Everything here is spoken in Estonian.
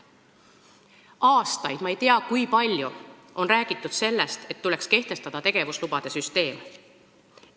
Aastaid – ma ei tea, kui palju – on räägitud sellest, et tuleks kehtestada tegevuslubade süsteem.